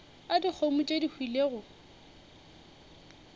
a dikgomo tše di hwilego